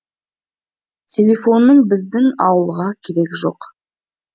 телефонның біздің ауылға керегі жоқ